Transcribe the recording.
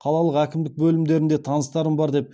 қалалық әкімдік бөлімдерінде таныстарым бар деп